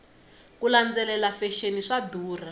ku landzelela fexeni swa durha